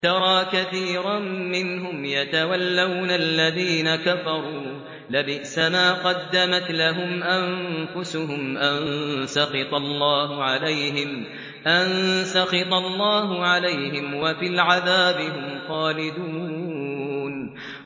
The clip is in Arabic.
تَرَىٰ كَثِيرًا مِّنْهُمْ يَتَوَلَّوْنَ الَّذِينَ كَفَرُوا ۚ لَبِئْسَ مَا قَدَّمَتْ لَهُمْ أَنفُسُهُمْ أَن سَخِطَ اللَّهُ عَلَيْهِمْ وَفِي الْعَذَابِ هُمْ خَالِدُونَ